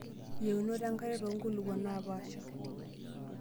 Yienot enkare too nkulukuok naapaasha.